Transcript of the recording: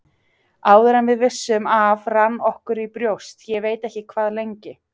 Áður en við vissum af rann okkur í brjóst, ég veit ekki hvað lengi.